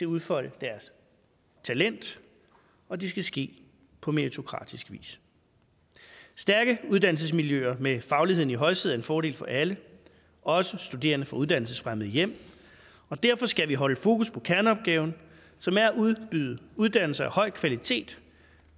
udfolde deres talent og det skal ske på meritokratisk vis stærke uddannelsesmiljøer med fagligheden i højsædet er en fordel for alle også studerende fra uddannelsesfremmede hjem og derfor skal vi holde fokus på kerneopgaven som er at udbyde uddannelser af høj kvalitet